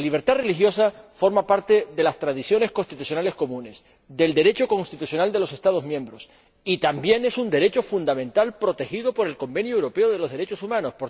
La libertad religiosa forma parte de las tradiciones constitucionales comunes, del Derecho constitucional de los Estados miembros, y también es un derecho fundamental protegido por el Convenio Europeo para la Protección de los Derechos Humanos.